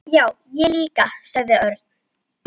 Já, ég líka sagði Örn.